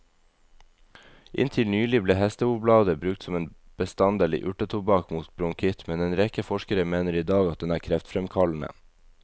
Inntil nylig ble hestehovblader brukt som en bestanddel i urtetobakk mot bronkitt, men en rekke forskere mener i dag at den er kreftfremkallende.